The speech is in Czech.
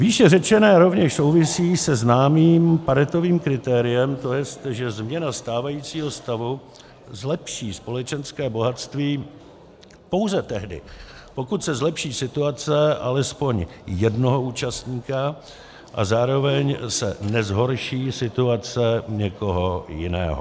Výše řečené rovněž souvisí se známým Paretovým kritériem, to jest, že změna stávajícího stavu zlepší společenské bohatství pouze tehdy, pokud se zlepší situace alespoň jednoho účastníka a zároveň se nezhorší situace někoho jiného.